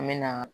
An me na